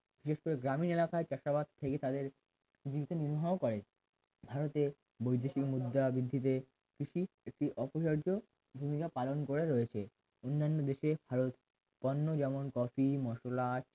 বিশেষ করে গ্রামীন এলাকায় চাষাবাদ থেকে তাদের জীবিকা নির্বাহ করে ভারতের বৈদেশিক মুদ্রা বৃদ্ধি পেয়ে কৃষি একটি অপরিহার্য ভূমিকা পালন করে রয়েছে অন্যান্য দেশে ভারত পণ্য যেমন কফি মসলা